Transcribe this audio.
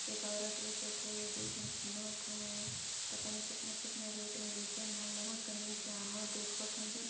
एक औरत भी छूते दु झीन झीना थे पता नई कितना-कितना रेट मे बेचन हे वह कने जाने देखत हैँ जों--